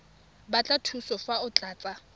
batla thuso fa o tlatsa